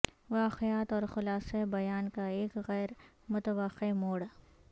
واقعات اور خلاصہ بیان کا ایک غیر متوقع موڑ